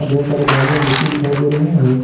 ढेर सारे बालू एवं मिट्टी दिखाई दे रहे हैं।